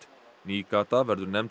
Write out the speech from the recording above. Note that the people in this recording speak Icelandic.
ný gata verður nefnd